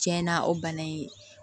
Tiɲɛna o bana in